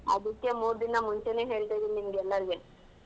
ಅದಿಕ್ಕೆ ಮೂರ್ ದಿನ ಮುಂಚೆನೇ ಹೇಳ್ತ ಇದ್ದೀನಿ ನಿಮ್ಗೆಲ್ಲಾರಿಗೆ.